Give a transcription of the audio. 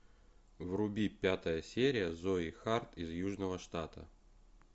вруби пятая серия зои харт из южного штата